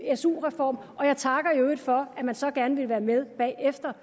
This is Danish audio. su reform og jeg takker i øvrigt for at man så gerne ville være med bagefter